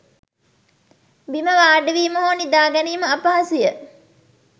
බිම වාඩිවීම හෝ නිදාගැනීම අපහසුය.